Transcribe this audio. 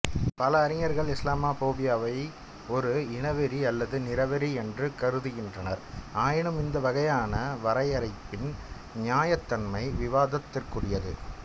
பல அறிஞர்கள் இஸ்லாமோபோபியாவை ஒரு இனவெறி அல்லது நிறவெறி என்று கருதுகின்றனர் ஆயினும் இந்த வகையான வரையறையின் நியாயத்தன்மை விவாதத்திற்குரியது